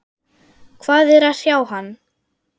Hvað er að hrjá hann?